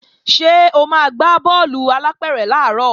Ṣé o máa gbá bọ́ọ̀lù alápẹ̀rẹ̀ làárọ̀